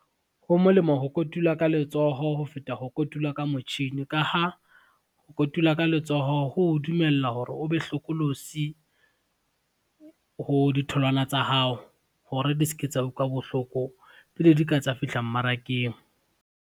Ho molemo ho kotula ka letsoho ho feta ho kotula ka motjhini ka ha, ho kotula ka letsoho ho o dumella hore o be hlokolosi, ho ditholwana tsa hao hore di se ke tsa utlwa bohloko pele di ka tsa fihla mmarakeng.